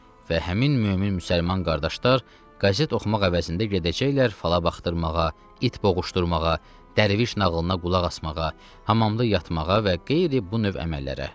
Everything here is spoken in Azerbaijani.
Və həmin mömin müsəlman qardaşlar qəzet oxumaq əvəzində gedəcəklər fala baxdırmağa, it boğuşdurmağa, dərviş nağılına qulaq asmağa, hamamda yatmağa və qeyri bu növ əməllərə.